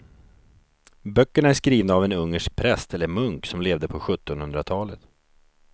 Böckerna är skrivna av en ungersk präst eller munk som levde på sjuttonhundratalet.